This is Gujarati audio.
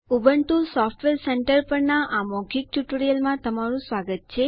ઉબુન્ટુ સોફ્ટવેર સેન્ટર પરના આ મૌખિક ટ્યુટોરિયલમાં તમારું સ્વાગત છે